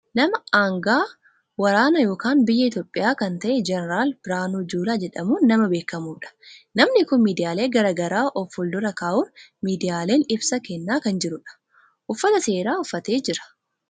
nama anga'aa waraanaa kan biyya Itiyoophiyaa kan ta'e Jeneral Biraanuu Juulaa jedhamuun nama beekamudha, namni kun miidiyaalee gara garaa of fuuldura kaa'uun miidiyaaleen ibsa kennaa kan jirudha. uffata seeraa uffatee jira.